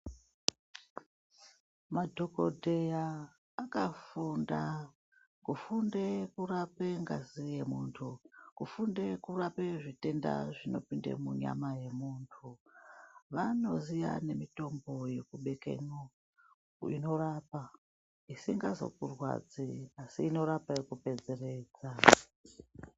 Madhokodheya akafunda kufunde kurape ngazi yemuntu, kufunde kurape zvitenda zvinopinde munyama yemuntu. Vanoziye nemitombo yekubekemwo, inorapa isingazokurwadzi asi inorapa yekupedzeredza.